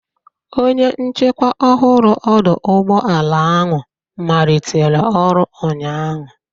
Onye nchikwa ọhụrụ ọdọ ụgbọala ahụ malitere ọrụ ụnyaahụ.